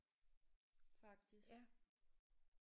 Faktisk